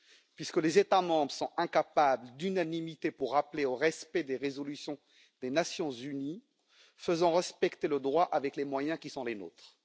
Puisque les États membres sont incapables d'unanimité pour appeler au respect des résolutions des Nations unies, faisons respecter le droit avec les moyens qui sont les nôtres.